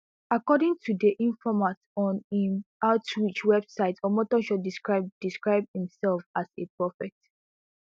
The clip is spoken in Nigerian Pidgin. according to di informat on im outreach website omotoso describe describe imsef as a prophet